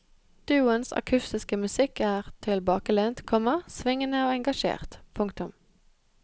Duoens akustiske musikk er tilbakelent, komma svingende og engasjert. punktum